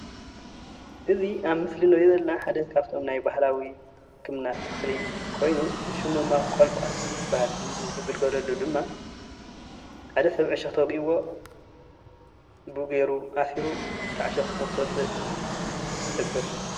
እዚ ኣብ ምስሊ እንሪኦ ዘለና ሓደ ካፍቶም ናይ ባህላዊ ህክምና ተኽሊ ኾይኑ ሽሙ ድማ ቆልቋል ይበሃል።